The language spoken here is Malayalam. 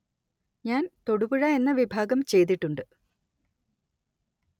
ഞാന്‍ തൊടുപുഴ എന്ന വിഭാഗം ചെയ്തിട്ടുണ്ട്